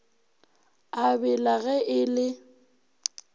a bela ge e le